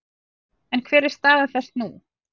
En hver er stað þess nú?